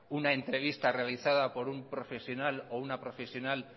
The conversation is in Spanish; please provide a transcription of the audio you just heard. una entrevista realizada por un profesional o una profesional